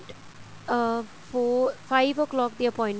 ਅਹ four five o clock ਦੀ appointment